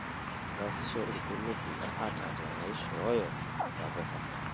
Keesisho irkulupi atateneishoyo ntapuka.